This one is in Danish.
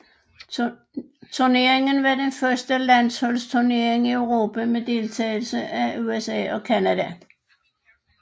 Turneringen var den første landsholdsturnering i Europa med deltagelse af USA og Canada